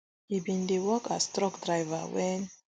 e bin dey work as truck driver wen